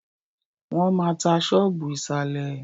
Wọ́n maá tá ṣọ́ọ́bù ìsàlẹ̀.